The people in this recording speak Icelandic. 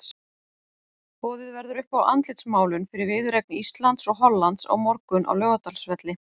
Boðið verður upp á andlitsmálun fyrir viðureign Íslands og Hollands á morgun á Laugardalsvelli.